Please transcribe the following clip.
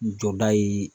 Jɔda ye